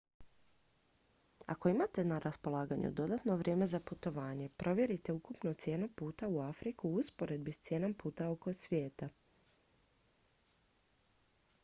ako imate na raspolaganju dodatno vrijeme za putovanje provjerite ukupnu cijenu puta u afriku u usporedbi s cijenom puta oko svijeta